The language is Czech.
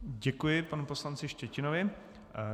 Děkuji panu poslanci Štětinovi.